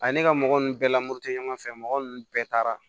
A ye ne ka mɔgɔ nun bɛɛ lamoto tɛ ɲɔgɔn fɛ mɔgɔ ninnu bɛɛ taara